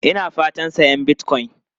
Ina fatan sayan Bitcoin.